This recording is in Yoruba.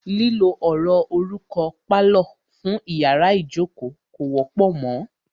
Lílo ọ̀rọ̀ orúkọ "pálọ̀" fún iyàrá ìjókó kò wọ́pọ̀ mọ.